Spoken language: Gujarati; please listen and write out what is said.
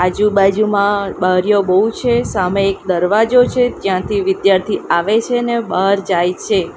આજુબાજુમાં બારીઓ બૌ છે સામે એક દરવાજો છે જ્યાંથી વિધ્યાર્થી આવે છે ને બાર જાય છે.